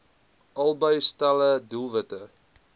albei stelle doelwitte